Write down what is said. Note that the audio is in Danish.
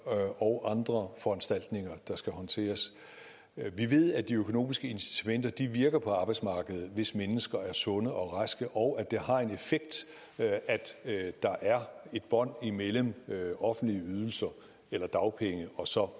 og andre foranstaltninger der skal håndteres vi ved at de økonomiske incitamenter virker på arbejdsmarkedet hvis mennesker er sunde og raske og at det har en effekt at der er et bånd imellem offentlige ydelser eller dagpenge og så